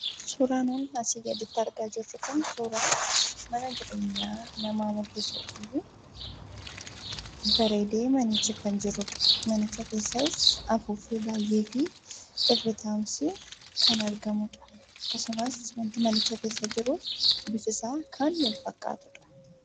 Suuraan asiin gaditti mul'achaa jiru Kun suuraa mana namaa mul'isuu dha. Manicha keessas afuuffee baayyee fi teessumni kan argamuu dha. Akkasumas wanti manicha keessa jiru hundi isaa kan wal-fakkaatuu dha.